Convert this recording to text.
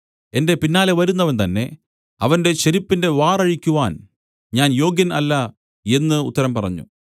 എന്റെ പിന്നാലെ വരുന്നവൻ തന്നേ അവന്റെ ചെരിപ്പിന്റെ വാറ് അഴിക്കുവാൻ ഞാൻ യോഗ്യൻ അല്ല എന്നു ഉത്തരം പറഞ്ഞു